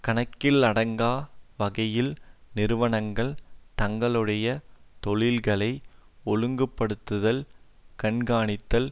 கணக்கிலடங்கா வகையில் நிறுவனங்கள் தங்களுடைய தொழில்களை ஒழுங்கு படுத்துதல் கண்காணித்தல்